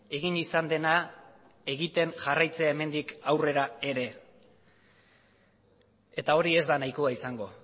egin izan dena egiten jarraitzea hemendik aurrera ere eta hori ez da nahikoa izango